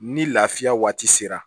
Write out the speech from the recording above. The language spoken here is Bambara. Ni lafiya waati sera